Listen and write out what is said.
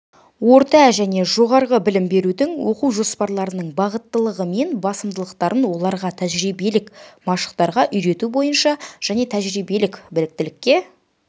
орта және жоғары білім берудің оқу жоспарларының бағыттылығы мен басымдықтарын оларға тәжірибелік машықтарға үйрету бойынша және тәжірибелік біліктілікке